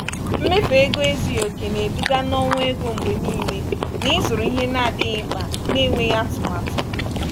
mmefu ego ezughị oke na-eduga na ọnwụ ego mgbe niile n’ịzụrụ ihe na-adịghị mkpa na-enweghị atụmatụ.